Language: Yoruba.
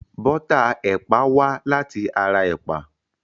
Bọ́tà ẹ̀pà wá láti ara ẹ̀pà.